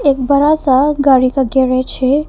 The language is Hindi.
बड़ा सा गाड़ी का गेराज है।